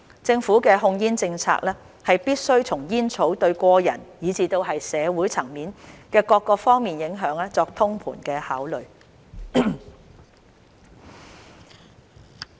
政府的控煙政策必須從煙草對個人以至社會層面的各方面影響作通盤考慮。